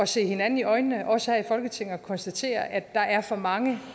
se hinanden i øjnene også her i folketinget og konstatere at der er for mange